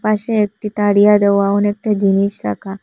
পাশে একটি তারিয়া দেওয়া অনেকটা জিনিস রাখা।